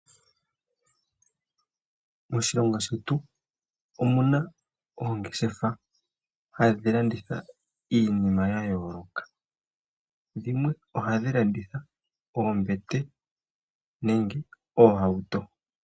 Moshilongo shetu omu na oongeshefa hadhi landitha iinima ya yooloka. Dhimwe ohadhi landitha oombete, nenge oohauto.